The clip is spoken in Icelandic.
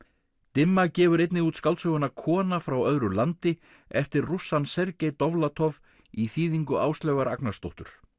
dimma gefur einnig út skáldsöguna kona frá öðru landi eftir rússann Sergej Dovlatov í þýðingu Áslaugar Agnarsdóttur